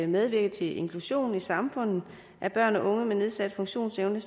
medvirke til inklusionen i samfundet af børn og unge med nedsat funktionsevne